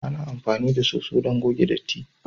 Ana amfani da soso don goge datti.